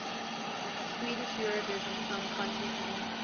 swedish eurovision song contest entrants